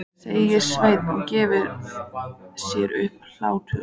sagði Sveinn og gerði sér upp hlátur.